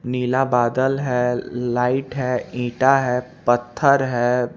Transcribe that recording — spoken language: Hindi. नीला बादल है लाइट है ईटा है पथर है--